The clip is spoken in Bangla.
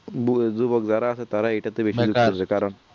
বুড়ো যুবক যারা আসে তারা এইটা তে বেশি তারা